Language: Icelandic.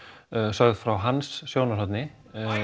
sögð frá hans sjónarhorni